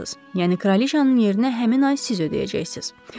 Yəni Kraliçanın yerinə həmin ay siz ödəyəcəksiniz.